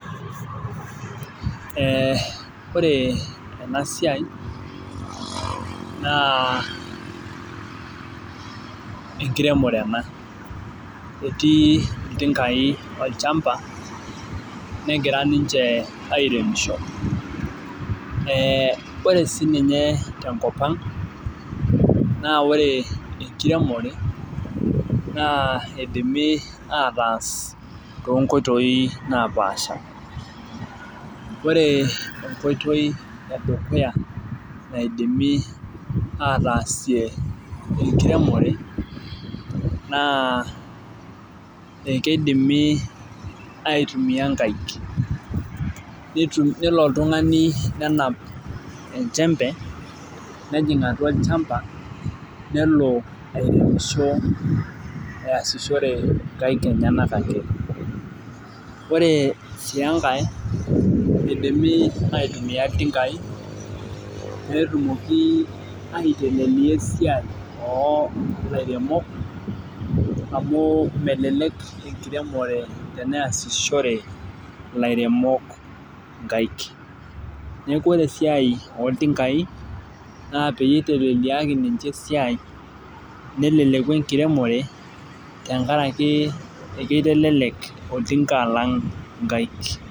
Ee ore ena siai naa enkiremore ena .etii iltinkai olchampa, negirae ninche airemosho. ore sii ninye tenakop ang naa ore enkiremore, naa eidimi ataasa too nkoitoi napaasha. ore enkoitoi edukuya naidimi ataasie enkiremore naa ekeidimi aitumia inkaik. nelo oltungani, nenap enchempe. nejing atua olchampa. nelo airemosho eyasishore nkaik enyenak ake. ore sii enkae eidimi, aitumia iltinkai peetumoki aiteleliaa esiai oo lairemok, amu melelek enkiremore teneesishore. ilairemok inkaik. neeku ore esiai ooltinkai, naa peyie eiteleliaki ninche esiai neleleku enkiremore, tenkaraki ekeitelelek oltinka alang' inkaik.